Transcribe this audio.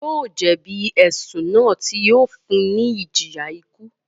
Yóò jẹ̀bi ẹ̀sùn náà tí yóò fún un ní ìjìyà ikú